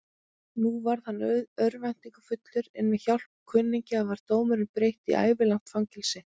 Nú varð hann örvæntingarfullur, en með hjálp kunningja var dóminum breytt í ævilangt fangelsi.